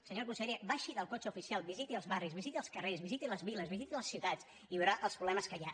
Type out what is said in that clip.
senyora consellera baixi del cotxe oficial visiti els barris visiti els carrers visiti les viles visiti les ciutats i veurà els problemes que hi ha